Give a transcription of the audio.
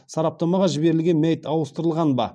сараптамаға жіберілген мәйіт ауыстырылған ба